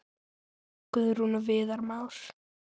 Guðrún og Viðar Már.